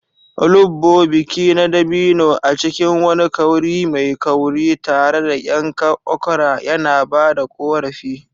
Olugbu, biki na dabino a cikin wani kauri mai kauri, tare da yankan okra yana ba da ƙorafi.